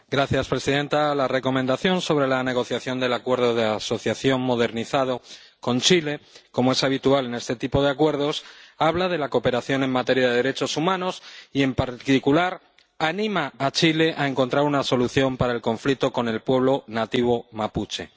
Señora presidenta, la Recomendación sobre la negociación del Acuerdo de Asociación modernizado con Chile, como es habitual en este tipo de acuerdos, habla de la cooperación en materia de derechos humanos y, en particular, anima a Chile a encontrar una solución al conflicto con el pueblo nativo mapuche.